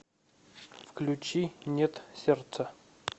включи нет сердца